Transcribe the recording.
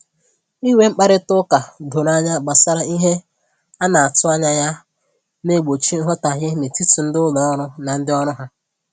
Inwe mkparịta ụka doro anya gbasara ihe a na-atụ anya ya na-egbochi nghọtahie n'etiti ndị ụlọ ọrụ na ndị ọrụ ha